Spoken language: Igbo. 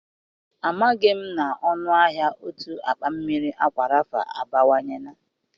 Amaghị m na ọnụ ahịa otu akpa mmiri Akwa Rafa abawanyela.